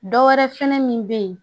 Dɔ wɛrɛ fɛnɛ min be yen